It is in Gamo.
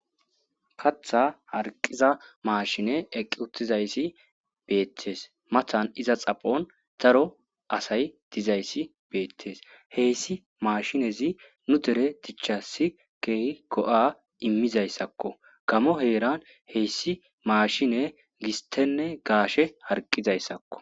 katha harqiza maashine eqqi uttizayssi beettes mathan iza xaphon daro asay dizayssi beettes heyssi maashinezi nu dere dichassi keeh go'a immizayssakko gaamo heeran heyssi maashine gistenne gaashe harqizayssakko